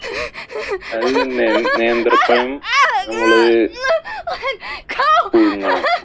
അത് തന്നെ നേന്ത്രപ്പഴം നമ്മള് പുഴുങ്ങണം.